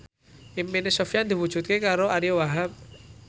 impine Sofyan diwujudke karo Ariyo Wahab